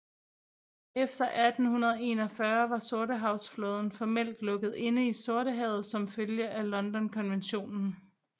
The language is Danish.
Efter 1841 var Sortehavsflåden formelt lukket inde i Sortehavet som følge af Londonkonventionen